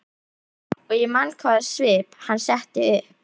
Og ég man hvaða svip hann setti upp.